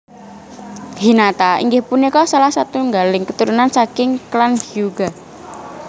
Hinata inggih punika salah satunggaling keturunan saking klan Hyuga